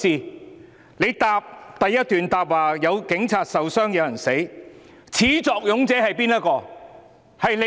他在主體答覆第一段提到有警察受傷、有人死亡，但始作俑者是誰？